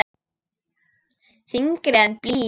Þyngri en blý.